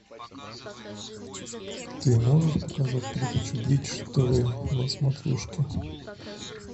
ты можешь показать передачу бридж тв на смотрешке